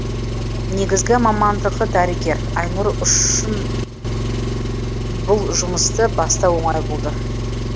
негізгі мамандығы дәрігер айнұр үшін бұл жұмысты бастау оңай болды